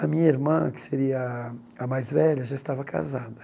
A minha irmã, que seria a a mais velha, já estava casada.